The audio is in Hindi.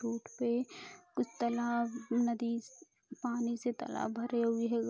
बोट पे कुछ तालाब नदी पानी से तालाब भरे हुए है।